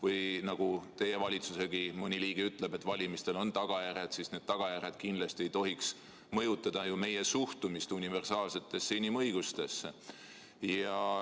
Teiegi valitsuse mõni liige ütleb, et valimistel on tagajärjed, ja need tagajärjed kindlasti ei tohiks mõjutada meie suhtumist universaalsetesse inimõigustesse.